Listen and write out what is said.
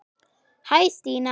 Hæ Stína